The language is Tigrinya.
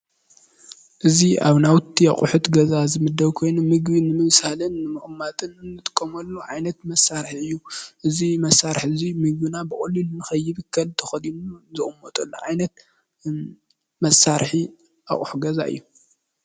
እዚ ኣብ ናውቲ ኣቁሑት ገዛ ዝምደብ ኮይኑ ምግቢ ንምብሳልን ንምምቅማጥን እንጥከመሉ ዓይነት መሳርሒ እዩ። እዚ መሳርሒ እዚ ምግብና ብቀሊሉ ንከይብከል ተኸዲኑ ዝቅመጠሉ ዓይነት መሳርሒ ኣቁሑ ገዛ እዩ።